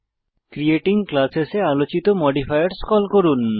creating classes এ আলোচিত modifiers call করুন